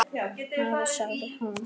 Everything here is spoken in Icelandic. Afi, sagði hún.